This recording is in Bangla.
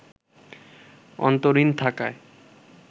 অন্তরীণ থাকায়